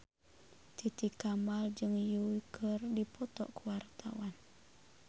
Titi Kamal jeung Yui keur dipoto ku wartawan